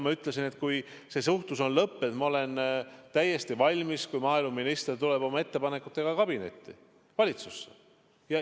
Ma ütlesin, et kui see suhtlus on lõppenud, siis, ma olen täiesti kindel, maaeluminister tuleb oma ettepanekutega kabinetti, valitsusse.